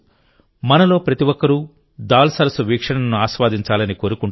మనలో ప్రతి ఒక్కరూ దాల్ సరస్సు వీక్షణను ఆస్వాదించాలని కోరుకుంటారు